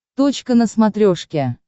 точка на смотрешке